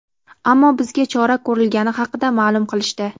ammo bizga chora ko‘rilgani haqida ma’lum qilishdi.